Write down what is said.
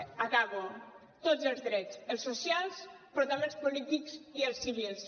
acabo tots els drets els socials però també els polítics i els civils